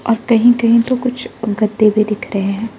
और कहीं कहीं तो कुछ गद्दे भी दिख रहे हैं।